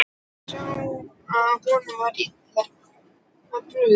Ég sá að honum var illa brugðið.